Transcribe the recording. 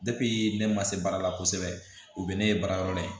ne ma se baara la kosɛbɛ o bɛ ne ye baara yɔrɔ la yen